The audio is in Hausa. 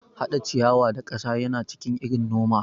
Hada ciyawa da kasa yana cikin irin noma.